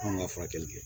Anw ka furakɛli kɛ